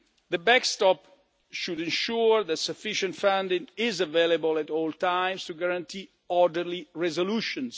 The backstop should ensure that sufficient funding is available at all times to guarantee orderly resolutions.